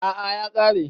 A'a ya kare